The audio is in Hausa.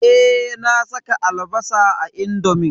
Eh, na saka albasa a indomin.